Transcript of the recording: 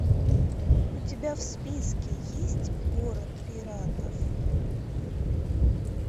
у тебя в списке есть город пиратов